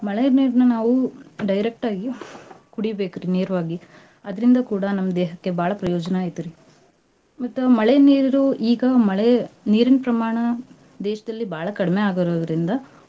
ಮಳೆ ನೀರ್ನ ನಾವು direct ಆಗಿ ಕುಡೀಬೇಕ್ರಿ ನೇರ್ವಾಗಿ. ಅದ್ರಿಂದ ಕೂಡ ನಮ್ ದೇಹಕ್ಕೆ ಬಾಳ ಪ್ರಯೋಜನಾ ಐತ್ರಿ. ಮತ್ತ ಮಳೆ ನೀರು ಈಗ ಮಳೆ ನೀರಿನ್ ಪ್ರಮಾಣ ದೇಶ್ದಲ್ಲಿ ಬಾಳ ಕಡಿಮೆ ಆಗುರೋದ್ರಿಂದ.